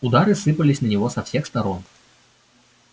удары сыпались на него со всех сторон